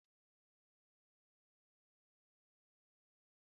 Amaka bụ onye na-akọ akụkọ ọjọọ